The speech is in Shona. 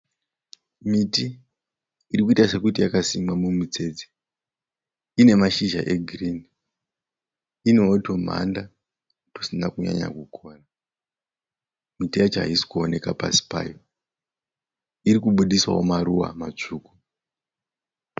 Miti irikuita sekuti yakasimwa mumutsetse inemachizha egirini. Inetumanda tusina kunyanya kukora ,miti yacho ayisi kuwonekwa pasi payo. Irikubudista wo maruva masvuku.